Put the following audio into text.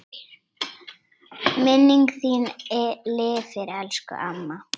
Minning þín lifir elsku amma.